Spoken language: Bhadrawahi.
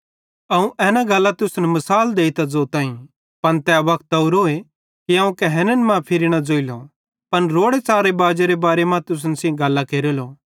अवं तुसन एना गल्लां मिसाल देइतां ज़ोताईं पन तै वक्त ओरोए कि अवं कहैन्न मां फिरी न ज़ोइलो पन रोड़े च़ारे बाजेरे बारे मां तुसन सेइं गल्लां केरेलो